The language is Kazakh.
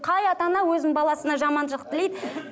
қай ата ана өзінің баласына жаманшылық тілейді